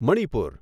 Manipur